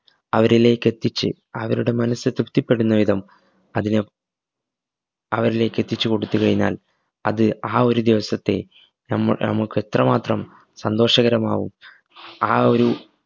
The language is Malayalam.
അവരിലേക്കെത്തിച്ച് അവരുടെ മനസ്സ് തൃപ്തിപെടുന്ന വിധം അതിനെ അവരിലേക്ക്‌ എത്തിച്ച് കൊടുത്ത് കൈഞ്ഞാൽ അത് ആ ഒരു ദിവസത്തെ നമ നമ്മക്കെത്രമാത്രം സന്തോഷകരമാവും ആ ഒരു